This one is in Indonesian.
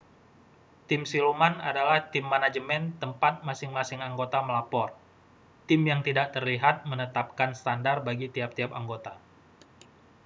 "tim siluman adalah tim manajemen tempat masing-masing anggota melapor. tim yang tidak terlihat menetapkan standar bagi tiap-tiap anggota.